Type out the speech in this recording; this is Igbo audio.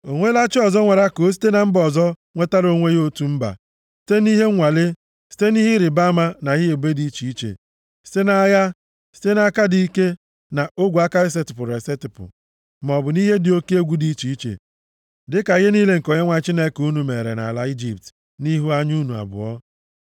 O nweela chi ọzọ nwara ka o site na mba ọzọ nwetara onwe ya otu mba, site nʼihe nwalee, site nʼihe ịrịbama na ihe ebube dị iche iche, site nʼagha, nʼaka dị ike, na ogwe aka esetipụrụ esetipụ, maọbụ nʼihe dị oke egwu dị iche iche, dịka ihe niile nke Onyenwe anyị Chineke unu mere nʼala Ijipt nʼihu anya unu abụọ?